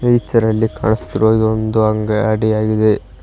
Pitcher ಲ್ಲಿ ಕಾಣುಸ್ತಿರುವ ಇದ್ ಒಂದೊ ಅನ್ ಅಂಗಡಿ ಆಗಿದೆ.